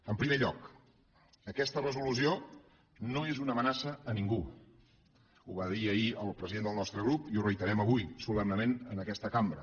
en primer lloc aquesta resolució no és una amenaça a ningú ho va dir ahir el president del nostre grup i ho reiterem avui solemnement en aquesta cambra